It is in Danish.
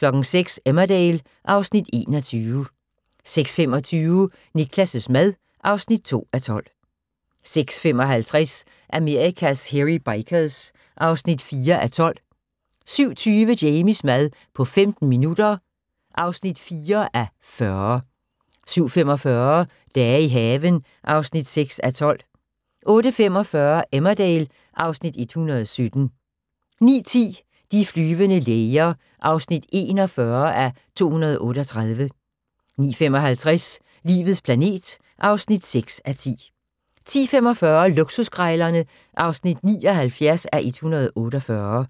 06:00: Emmerdale (Afs. 21) 06:25: Niklas' mad (2:12) 06:55: Amerikas Hairy Bikers (4:12) 07:20: Jamies mad på 15 minutter (4:40) 07:45: Dage i haven (6:12) 08:45: Emmerdale (Afs. 117) 09:10: De flyvende læger (41:238) 09:55: Livets planet (6:10) 10:45: Luksuskrejlerne (79:148)